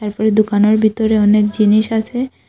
পরে দোকানের বিতরে তরে অনেক জিনিস আসে।